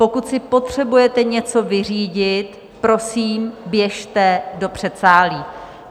Pokud si potřebujete něco vyřídit, prosím, běžte do předsálí.